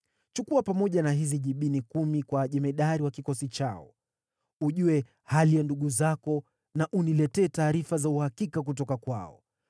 Chukua pamoja na hizi jibini kumi kwa jemadari wa kikosi chao. Ujue hali ya ndugu zako na uniletee taarifa za uhakika kutoka kwao.